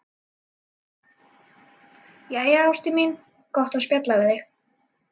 Jæja, ástin mín, gott að spjalla við þig.